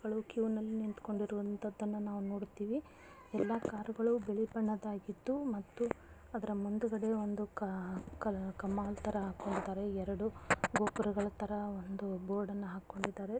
ಈ ಚಿತ್ರದಲ್ಲಿ ನಾವು ಸಾಕಷ್ಟು ಕಾರುಗಳು ಕ್ಯೂನಲ್ಲಿ ನಿಂತುಕೊಂಡಿರುವಂತದನ್ನನಾವು ನೋಡತೀವಿ ಎಲ್ಲಾ ಕಾರುಗಳು ಬಿಳಿ ಬಣ್ಣದಾಗಿದ್ದು ಮತ್ತು ಅದರ ಮುಂದುಗಡೆ ಒಂದು ಕ-ಕ-ಕಾಮನು ತರ ಹಾಕ್ಕೊಂಡಿದ್ದಾರೆ ಎರಡು ಗೋಪುರಗಳು--